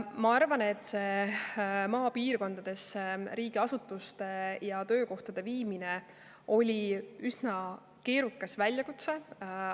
Ma arvan, et see maapiirkondadesse riigiasutuste ja töökohtade viimine oli üsna keerukas väljakutse.